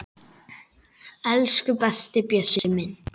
Elsku besti Bjössi minn.